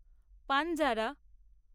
Panjara